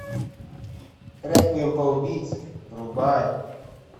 реквием по убийце врубай